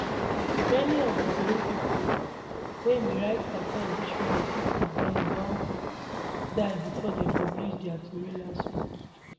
many of di tori pipo wey bin write carter obituary keep for ground don die bifor dem publish dia tori last week